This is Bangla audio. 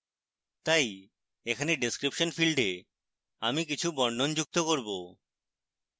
তাই এখানে description ফীল্ডে আমি কিছু বর্ণন যুক্ত করব